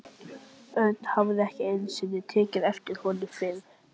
Örn hafði ekki einu sinni tekið eftir honum fyrr.